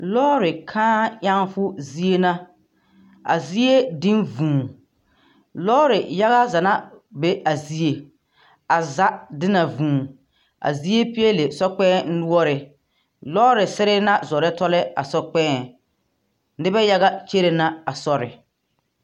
Lɔɔre kãã ɛŋfo zie na. A zie diŋ vũũ. Lɔɔre yaga za na be a zie. A za di na vũũ. A zie peɛle sɔkpɛŋ noɔre. Lɔɔre sere na zɔrɔ tɔlɔ a sɔkpɛɛŋ. Nebɛ yaga kyere na a sɔre.